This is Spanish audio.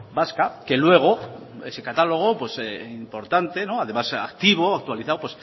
vasca que luego ese catálogo importante además activo actualizado